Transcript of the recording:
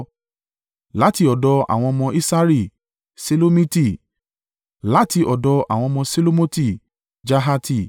Láti ọ̀dọ̀ àwọn ọmọ Isari: Ṣelomiti; láti ọ̀dọ̀ àwọn ọmọ Ṣelomoti: Jahati.